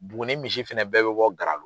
Buguni misi fɛnɛ bɛɛ bɛ bɔ Garalo.